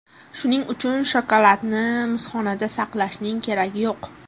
Shuning uchun shokoladni muzxonada saqlashning keragi yo‘q.